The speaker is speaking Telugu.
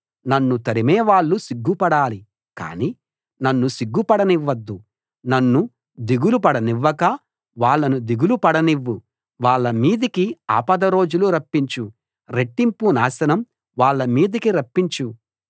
నన్ను తరిమేవాళ్ళు సిగ్గుపడాలి కానీ నన్ను సిగ్గుపడనివ్వొద్దు నన్ను దిగులు పడనివ్వక వాళ్ళను దిగులు పడనివ్వు వాళ్ళ మీదికి ఆపద రోజులు రప్పించు రెట్టింపు నాశనం వాళ్ళ మీదికి రప్పించు